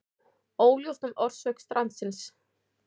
Óljóst um orsök strandsins